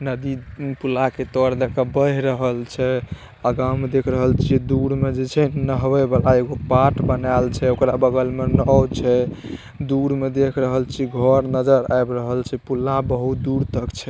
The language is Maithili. नदी पुला के तर देखा बह रहल छे। आगा में देख रहल छे दूर में जे छे नहवै वाला एगो पाट बनाल छे ओकरा बगल में नाओ छे दूर में देख रहल छी घर नजर आव रहल छे पुला बहुत दूर तक छे।